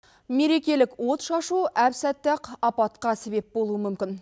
мерекелік отшашу әп сәтте ақ апатқа себеп болуы мүмкін